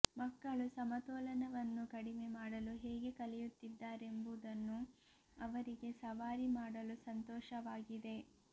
ಮಕ್ಕಳು ಸಮತೋಲನವನ್ನು ಕಡಿಮೆ ಮಾಡಲು ಹೇಗೆ ಕಲಿಯುತ್ತಿದ್ದಾರೆಂಬುದನ್ನು ಅವರಿಗೆ ಸವಾರಿ ಮಾಡಲು ಸಂತೋಷವಾಗಿದೆ